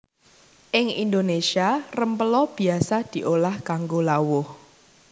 Ing Indonésia rempela biasa diolah kanggo lawuh